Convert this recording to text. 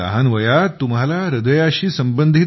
इतक्या लहान वयात तुम्हाला हृदयाशी